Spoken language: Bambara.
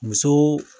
Muso